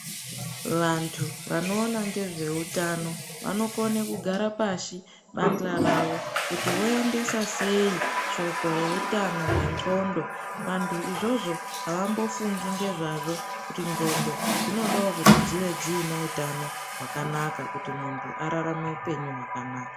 Vantu vanoone ngezveutano vanokone kugara pashi bandla ravo kuti voendese sei shoko reutano wendhlondo. Vantu izvozvo avambofungi ngezvazvo zvendhlondo kuti dzinodawo kunge dziine hutano hwakanaka kuti muntu ararame hupenyu hwakanaka